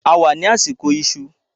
A wà ní àsìkò ìṣù